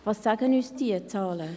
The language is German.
Was sagen uns diese Zahlen?